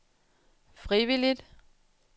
frivilligt